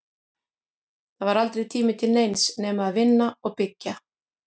Það var aldrei tími til neins nema að vinna og byggja.